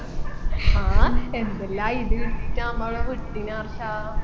ആ എന്തല്ലാം ഇത് ഇട്ടിട്ട നമ്മളെ വിട്ടിന് ആർഷാ